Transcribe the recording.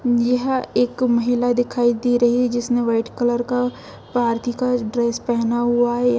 यह एक महिला दिखाई दे रही है जिसने वाइट कलर का पारती का ड्रेस पहना हुआ है।